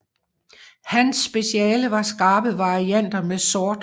Hans speciale var skarpe varianter med sort